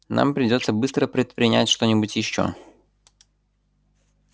нам придётся быстро предпринять что-нибудь ещё